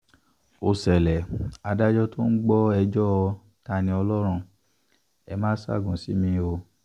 ó ṣẹlẹ̀ adájọ́ tó ń gbọ́ ẹjọ́ ta-ni-ọlọ́run ẹ máa ṣaágùn sí mi o